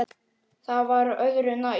Það var öðru nær.